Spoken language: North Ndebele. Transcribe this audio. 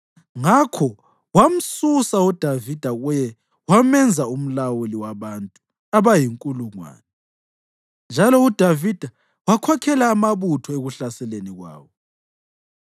Ngakho wamsusa uDavida kuye wamenza umlawuli wabantu abayinkulungwane; njalo uDavida wakhokhela amabutho ekuhlaseleni kwawo.